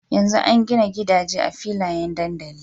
Yanzu an gina gida je a filayen dandali